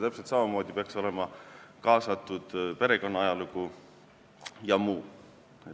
Täpselt samamoodi peaks olema kaasatud perekonna ajalugu jms.